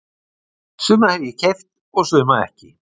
Suma hef ég keypt og suma ekki.